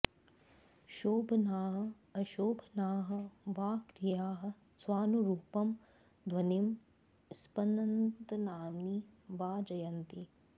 शोभनाः अशोभनाः वा क्रियाः स्वानुरुपं ध्वनिं स्पन्दनानि वा जनयन्ति